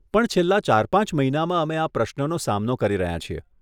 પણ છેલ્લા ચાર પાંચ મહિનામાં અમે આ પ્રશ્નનો સામનો કરી રહ્યાં છીએ.